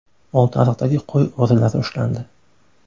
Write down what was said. Oltiariqdagi qo‘y o‘g‘rilari ushlandi.